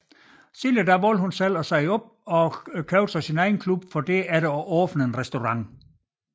Senere valgte hun dog selv at sige op og købte så sin egen klub for derefter at åbne en restaurant